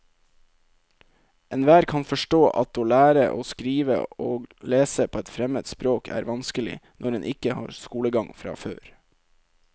Enhver kan forstå at å lære å skrive og lese på et fremmed språk er vanskelig når en ikke har skolegang fra før.